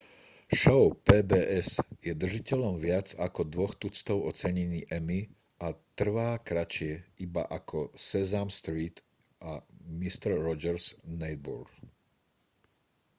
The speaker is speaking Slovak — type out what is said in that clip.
šou pbs je držiteľom viac ako dvoch tuctov ocenení emmy a trvá kratšie iba ako sesame street a mister rogers' neighborhood